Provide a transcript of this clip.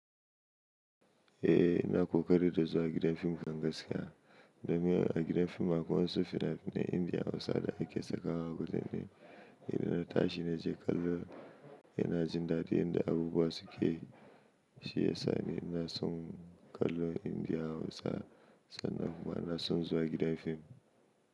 Eh ina ƙoƙari da zuwa gidan fim kan gaskiya. Domin a gidan fim akwai wasu fina-finan Indiya Hausa da ake sakawa a kudanai. Inda na tashi na je kallo ina jin daɗi inda abubuwa suke yi. Shi ya sa ni na son kallo Indiya Hausa sannan kuma na son zuwa gidan fim.